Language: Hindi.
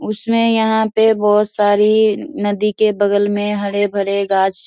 उसने यहां पे बहुत सारी नदी के बगल में हरे भरे गाछ --